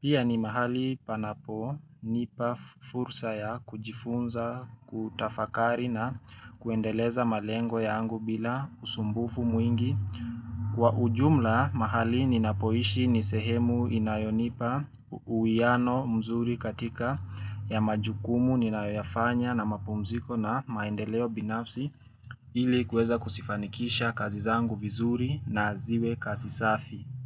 Pia ni mahali panapo nipa fursa ya kujifunza, kutafakari na kuendeleza malengo yangu bila usumbufu mwingi. Kwa ujumla mahali ninapoishi ni sehemu inayonipa uuiano mzuri katika ya majukumu ninayofanya na mapumziko na maendeleo binafsi ili kuweza kuzifanikisha kazi zangu vizuri na ziwe kazi safi.